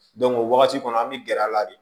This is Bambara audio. o wagati kɔnɔ an be gɛrɛ a la de